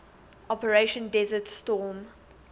operation desert storm